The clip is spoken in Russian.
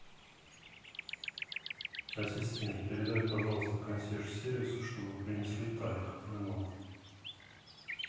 ассистент передай пожалуйста консьерж сервису чтобы принесли тальк для ног